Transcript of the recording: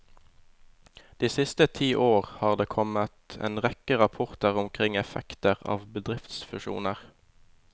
De siste ti år har det kommet en rekke rapporter omkring effekter av bedriftsfusjoner.